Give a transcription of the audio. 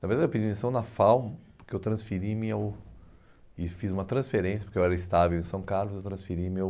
Na verdade eu pedi demissão na FAU, porque eu transferi meu e fiz uma transferência, porque eu era estável em São Carlos, eu transferi meu...